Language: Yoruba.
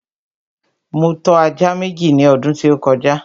Mo tọ́ ajá Méjì ní ọdún tí ó kọjá